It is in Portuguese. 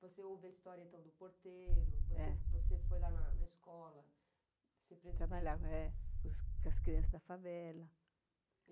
Você ouve a história então do porteiro, é, você você foi lá na escola... Trabalhava é com com as crianças da favela.